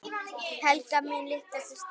Helga mín litla systir.